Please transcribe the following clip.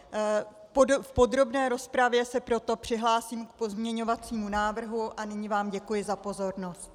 V podrobné rozpravě se proto přihlásím k pozměňovacímu návrhu a nyní vám děkuji za pozornost.